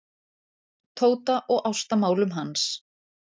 Tóta og ástamálum hans.